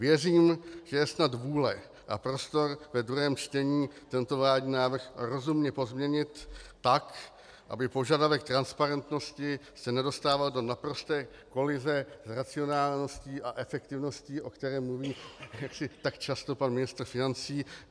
Věřím, že je snad vůle a prostor v druhém čtení tento vládní návrh rozumně pozměnit tak, aby požadavek transparentnosti se nedostával do naprosté kolize s racionálností a efektivností, o které mluví tak často pan ministr financí.